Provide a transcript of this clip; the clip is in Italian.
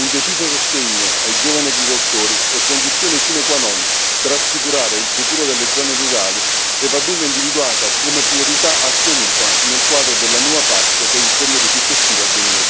Un deciso sostegno ai giovani agricoltori è condizione sine qua non per assicurare il futuro delle zone rurali e va dunque individuata come priorità assoluta nel quadro della nuova PAC per il periodo successivo